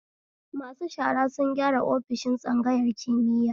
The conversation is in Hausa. Masu shara sun gyara ofisoshin tsangayar kimiya